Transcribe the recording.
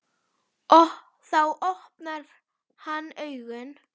Þá opnar hann augun.